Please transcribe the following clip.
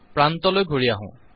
প্ৰান্তলৈ ঘূৰি আহো